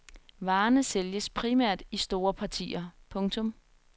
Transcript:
Varerne sælges primært i store partier. punktum